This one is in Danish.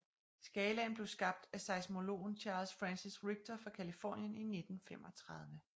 Skalaen blev skabt af seismologen Charles Francis Richter fra Californien i 1935